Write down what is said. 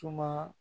Suma